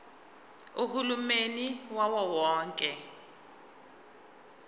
uhulumeni wawo wonke